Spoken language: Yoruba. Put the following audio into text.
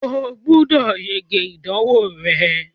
o gbúdọ̀ yege ìdánwò rẹ.